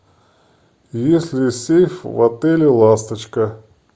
есть ли сейф в отеле ласточка